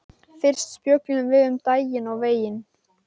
Fyrst spjölluðum við um daginn og veginn.